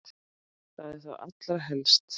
Það er þá allra helst!